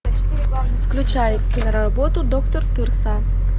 включай киноработу доктор тырса